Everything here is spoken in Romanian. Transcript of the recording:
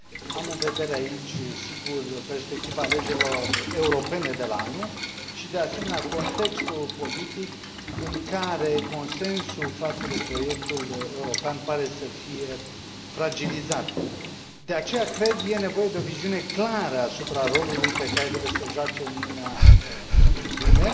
Am în vedere aici, sigur, perspectiva alegerilor europene de la anul și, de asemenea, contextul politic în care consensul față de proiectul european pare să fie fragilizat. De aceea, cred, e nevoie de o viziune clară asupra rolului pe care trebuie să îl joace Uniunea în lume.